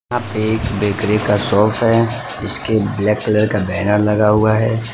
यहां पे एक बेकरी का शॉप है इसके ब्लैक कलर का बैनर लगा हुआ है।